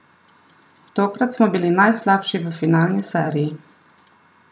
Tokrat smo bili najslabši v finalni seriji.